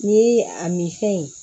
Ni a min fɛn ye